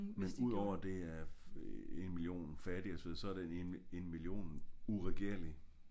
Men udover det er en million fattige så er det en million uregerlige